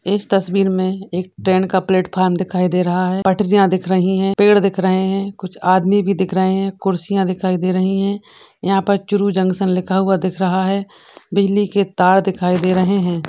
इस तस्वीर में एक ट्रेन का प्लेटफार्म दिखाई दे रहा है पटरिया दिख रही हैं पेड़ दिख रहे हैं कुछ आदमी भी दिख रहे हैं कुर्सियां दिखाई दे रही है यहां पर चूरू जंक्शन लिखा हुआ दिख रहा है बिजली की तारे दिखायी दे रहे हैं।